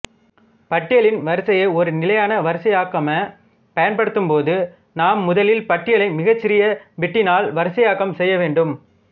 பட்டியலின் வரிசையை ஒரு நிலையான வரிசையாக்கமாகப் பயன்படுத்தும்போது நாம் முதலில் பட்டியலை மிகச்சிறிய பிட்டினால் வரிசையாக்கம் செய்ய வேண்டும்